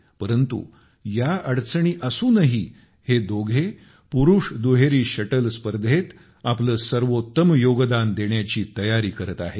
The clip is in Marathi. परंतु या अडचणी असूनही हे दोघे पुरुष दुहेरी शटल स्पर्धेत आपले सर्वोत्तम योगदान देण्याची तयारी करत आहेत